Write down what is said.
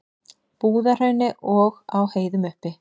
Búðahrauni og á heiðum uppi.